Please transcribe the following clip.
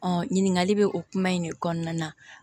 ɲininkali bɛ o kuma in de kɔnɔna na